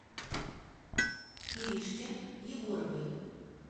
иришке егоровой